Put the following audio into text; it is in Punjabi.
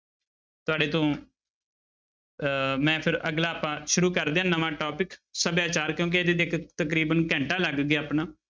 ਤੁਹਾਡੇ ਤੋਂ ਅਹ ਮੈਂ ਫਿਰ ਅਗਲਾ ਪਾਠ ਸ਼ੁਰੁ ਕਰਦੇ ਹਾਂ ਨਵਾਂ topic ਸਭਿਆਚਾਰ ਕਿਉਂਕਿ ਇਹਦੇ ਤੇ ਇੱਕ ਤਕਰੀਬਨ ਘੰਟਾ ਲੱਗ ਗਿਆ ਆਪਣਾ